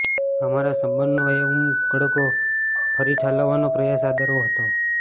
અમારા સંબંધ નો એ ઉમળકો ફરી ઠાલવવા નો પ્રયાસ આદરવો હતો